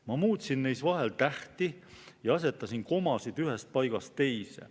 Ma muutsin neis vahel tähti ja asetasin komasid ühest paigast teise.